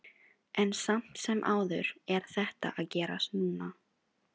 En samt sem áður er þetta að gerast núna.